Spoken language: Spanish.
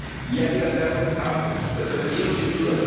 Y hay que cambiarlos ambos el femenino, sin duda